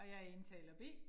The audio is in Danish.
Og jeg indtaler B